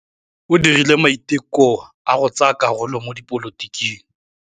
O dirile maitekô a go tsaya karolo mo dipolotiking.